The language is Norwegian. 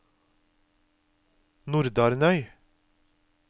Nordarnøy